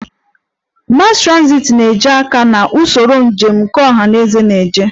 Mass transit na-ezo aka na usoro njem nke ọha na eze na-eji